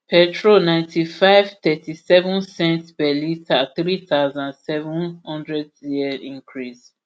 petrol ninety-five ulp lrp thirtyseven cents per litre three thousand, seven hundred cl increase